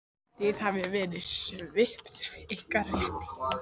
Þið hafið verið svipt ykkar rétti.